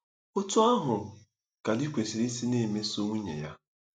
Otú ahụ ka di kwesịrị isi na-emeso nwunye ya.